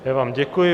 Já vám děkuji.